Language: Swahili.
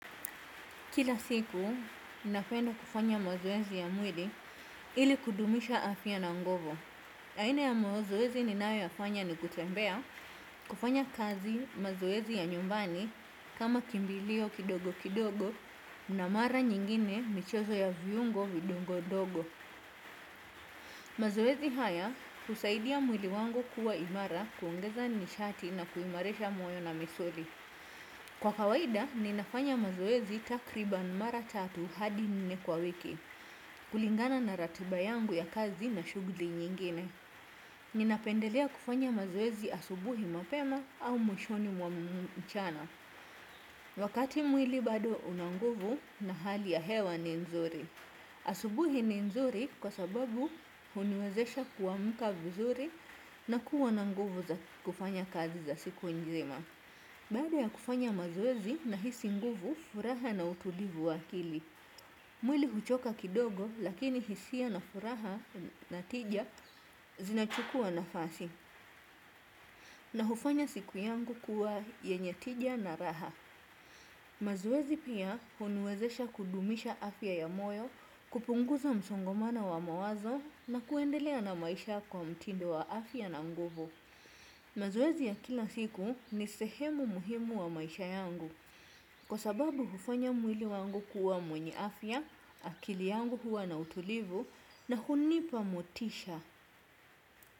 Kila siku, ninapenda kufanya mazoezi ya mwili ili kudumisha afya na nguvu. Aina ya mazoezi ninayoyafanya ni kutembea kufanya kazi mazoezi ya nyumbani kama kimbilio kidogo kidogo na mara nyingine michezo ya viungo vidogo dogo. Mazoezi haya husaidia mwili wangu kuwa imara kuongeza nishati na kuimarisha moyo na misuli. Kwa kawaida, ninafanya mazoezi takribani mara tatu hadi nne kwa wiki, kulingana na ratiba yangu ya kazi na shughuli nyingine. Ninapendelea kufanya mazoezi asubuhi mapema au mwishoni mwa mchana, wakati mwili bado una nguvu na hali ya hewa ni nzuri. Asubuhi ni nzuri kwa sababu huniwezesha kuamka vizuri na kuwa na nguvu za kufanya kazi za siku nzima. Baada ya kufanya mazoezi nahisi nguvu furaha na utulivu wa akili. Mwili huchoka kidogo lakini hisia na furaha na tija zinachukua nafasi. Na hufanya siku yangu kuwa yenye tija na raha. Mazoezi pia huniwezesha kudumisha afya ya moyo, kupunguza msongomano wa mawazo na kuendelea na maisha kwa mtindo wa afya na nguvu. Mazoezi ya kila siku ni sehemu muhimu wa maisha yangu. Kwa sababu hufanya mwili wangu kuwa mwenye afya, akili yangu huwa na utulivu na hunipa motisha.